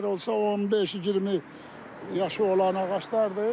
Onlar olsa 15-20 yaşı olan ağaclardır.